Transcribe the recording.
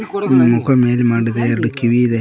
ಮುಖ ಮೇಲ್ ಮಾಡಿದೆ ಎರಡು ಕಿವಿ ಇದೆ.